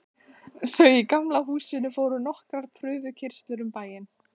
Þau í Gamla húsinu fóru nokkrar prufukeyrslur um bæinn.